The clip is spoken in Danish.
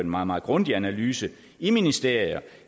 meget meget grundig analyse i ministerier